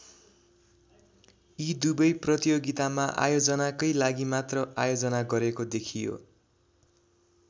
यी दुवै प्रतियोगितामा आयोजनाकै लागि मात्र आयोजना गरेको देखियो।